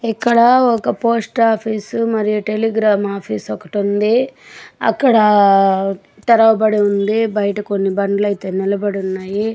ఇక్కడ ఒక post office మరియు టెలిగ్రామ్ ఆఫీస్ ఒకటి ఉంది.అక్కడ తెరవబడి ఉంది. బయట కొన్ని బండ్లు అయితే నిలబడి ఉన్నాయి.